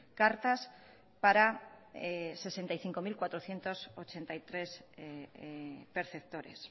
cartas para sesenta y cinco mil cuatrocientos ochenta y tres perceptores